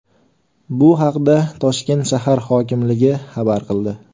Bu haqda Toshkent shahar hokimligi xabar qildi .